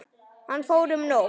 Hann fór um nótt.